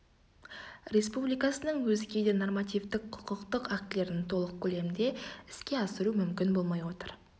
республикасының өзге де нормативтк құқықтық актілерін толық көлемде іске асыру мүмкін болмай отыр